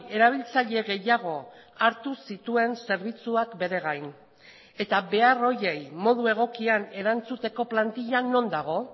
erabiltzaile gehiago hartu zituen zerbitzuak bere gain eta behar horiei modu egokian erantzuteko plantila non dago